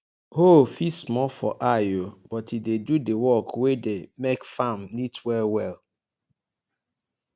hoe fit small for eye o but e dey do d work wey dey make farm neat well well